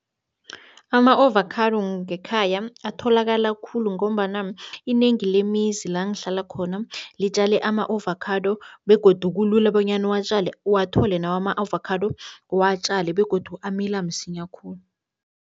Ama-ovakhado ngekhaya atholakala khulu ngombana inengi lemizi la ngihlala khona, litjale ama-ovakhado begodu kulula bonyana uwatjale uwathole nawe ama-avakhado, uwatjale begodu amila msinya khulu.